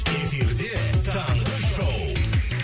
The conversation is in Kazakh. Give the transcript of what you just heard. эфирде таңғы шоу